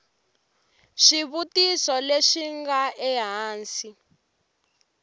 swivutiso leswi swi nga ehansi